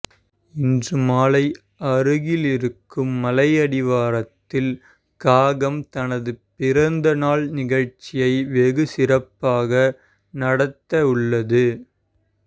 இன்று மாலை அருகேயிருக்கும் மலையடிவாரத்தில் காகம் தனது பிறந்த நாள் நிகழ்ச்சியை வெகு சிறப்பாக நடத்தவுள்ளது